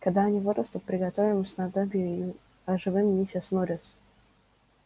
когда они вырастут приготовим снадобье и оживим миссис норрис